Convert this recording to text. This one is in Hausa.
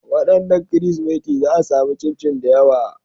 Wadannan Kirsimeti za a sami chinchin da yawa.